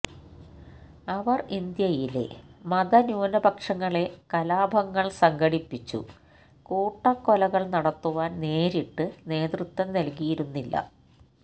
അവർ ഇന്ത്യയിലെ മത ന്യൂനപക്ഷങ്ങളെ കലാപങ്ങൾ സംഘടിപ്പിച്ചു കൂട്ട കൊലകൾ നടത്തുവാൻ നേരിട്ട് നേതൃത്വം നൽകിയിരുന്നില്ല